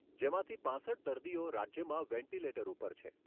જેમાંથી પાંસઠ દર્દીઓ રાજ્યમાં વેન્ટીલેટર ઉપર છે.